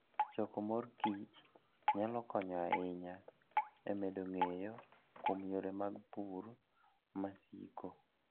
Choko mor kich nyalo konyo ahinya e medo ng'eyo kuom yore mag pur masiko.